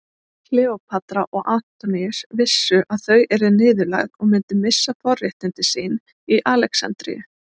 Kleópatra og Antoníus vissu að þau yrðu niðurlægð og myndu missa forréttindi sín í Alexandríu.